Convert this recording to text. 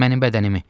Mənim bədənimi?